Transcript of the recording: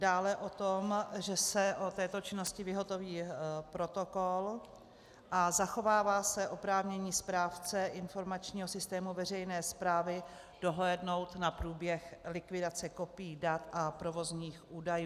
Dále o to, že se o této činnosti vyhotoví protokol a zachovává se oprávnění správce informačního systému veřejné správy dohlédnout na průběh likvidace kopií dat a provozních údajů.